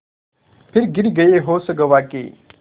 फिर गिर गये होश गँवा के